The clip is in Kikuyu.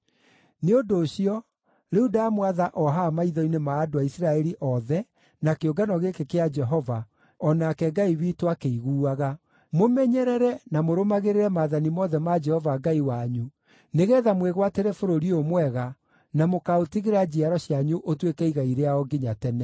“Nĩ ũndũ ũcio, rĩu ndamwatha o haha maitho-inĩ ma andũ a Isiraeli othe na kĩũngano gĩkĩ kĩa Jehova, o nake Ngai witũ akĩiguaga: Mũmenyerere, na mũrũmagĩrĩre maathani mothe ma Jehova Ngai wanyu, nĩgeetha mwĩgwatĩre bũrũri ũyũ mwega, na mũkaũtigĩra njiaro cianyu ũtuĩke igai rĩao nginya tene.